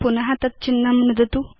पुन तदेव चिह्नं नुदतु